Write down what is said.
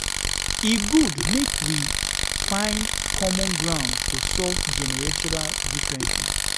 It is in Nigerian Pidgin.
E good make we um find common ground to solve generational differences.